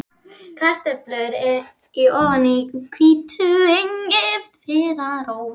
Kartöflur í ofni með hvítlauk og engiferrót